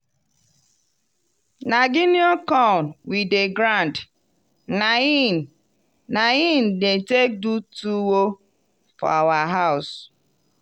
na guinea corn we dem grind na in na in dem take do tuwo for our house.